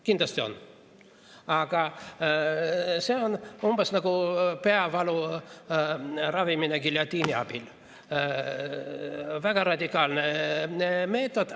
Kindlasti on, aga see on umbes nagu peavalu ravimine giljotiini abil – väga radikaalne meetod.